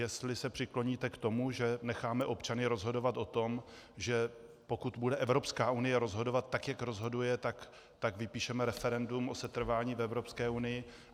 Jestli se přikloníte k tomu, že necháme občany rozhodovat o tom, že pokud bude Evropská unie rozhodovat tak, jak rozhoduje, tak vypíšeme referendum o setrvání v Evropské unii.